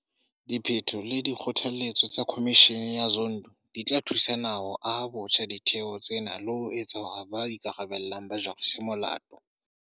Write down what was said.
Diphetho le dikgothaletso tsa Khomishene ya Zondo di tla thusa naha ho aha botjha ditheo tsena le ho etsa hore ba ikarabellang ba jariswe molato.